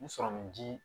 N sɔrɔmun di